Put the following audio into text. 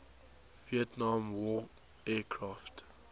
vietnam war aircraft